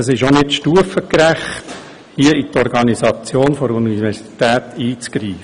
Es ist nicht stufengerecht, hier in die Organisation der Universität einzugreifen.